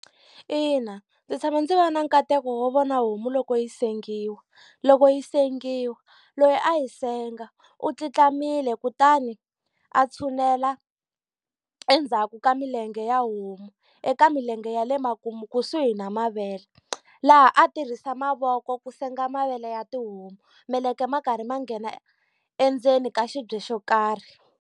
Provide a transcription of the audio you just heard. Ina ndzi tshame ndzi va na nkateko wo vona homu loko yi sengiwa. Loko yi sengiwa loyi a yi senga u tluntlamile kutani a tshunela endzhaku ka milenge ya homu, eka milenge ya le makumu kusuhi na mavele. Laha a tirhisa mavoko ku senga mavele ya tihomu, meleke ma karhi ma nghena endzeni ka xibye xo karhi.